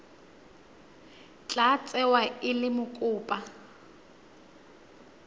tla tsewa e le mokopa